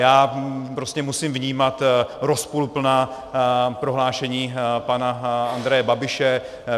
Já prostě musím vnímat rozporuplná prohlášení pana Andreje Babiše.